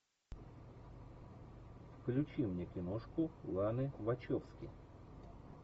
включи мне киношку ланы вачовски